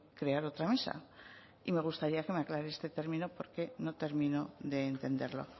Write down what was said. crear otra mesa y me gustaría que me aclare este término porque no termino de entenderlo